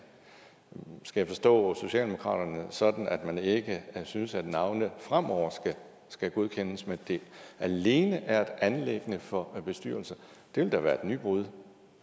skal jeg forstå socialdemokratiet sådan at man ikke synes at navne fremover skal godkendes men at det alene er et anliggende for bestyrelser det vil da være et nybrud